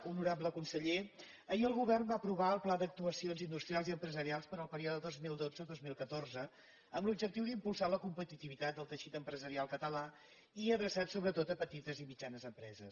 honorable conseller ahir el govern va aprovar el pla d’actuacions industrials i empresarials per al període dos mil dotze dos mil catorze amb l’objectiu d’impulsar la competitivitat del teixit empresarial català i adreçat sobretot a petites i mitjanes empreses